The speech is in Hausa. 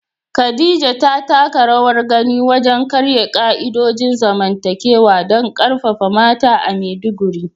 Khadija ta taka rawar gani wajen karya ka'idojin zamantakewa don karfafa mata a Maiduguri.